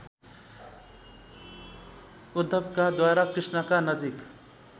उद्धवकाद्वारा कृष्णका नजिक